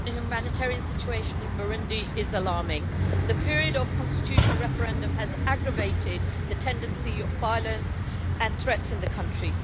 Mr President, the humanitarian situation in Burundi is alarming. The period of the constitutional referendum has aggravated the tendency of violence and threats in the country.